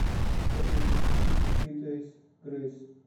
афина включи песни фри дейс грейс